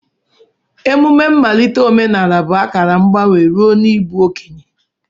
Emume mmalite omenala bụ akara mgbanwe ruo n'ịbụ okenye.